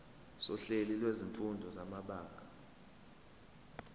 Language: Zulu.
sohlelo lwezifundo samabanga